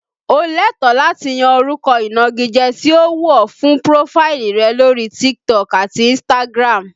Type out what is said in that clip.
O lẹ́tọ̀ọ́ láti yan orúkọ ìnagijẹ tí ó wù ọ fún prófáìlì rẹ lórí TikTok àti Instagram